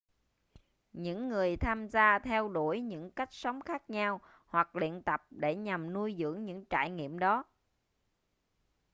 những người tham gia theo đuổi những cách sống khác nhau hoặc luyện tập để nhằm nuôi dưỡng những trải nghiệm đó